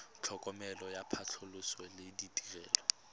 tlhokomelo ya phatlhoso le ditirelo